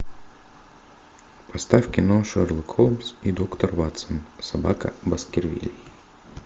поставь кино шерлок холмс и доктор ватсон собака баскервилей